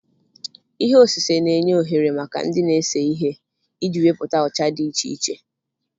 Ihe osise na-enye ohere maka ndị na-ese ihe iji wepụta ọcha dị iche iche